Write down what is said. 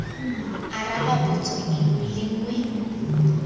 araba potso e le nngwe